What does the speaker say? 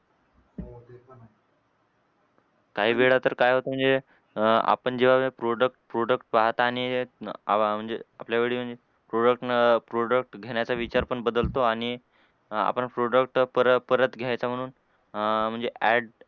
काही वेळा तर काय होतं म्हणजे अह आपण जेव्हा product product पाहता आणि आवा म्हणजे आपल्यावेळी म्हणजे product नं product घेण्याचा विचार पण बदलतो आणि आपण product परत परत घ्यायचं म्हणून अह म्हणजे add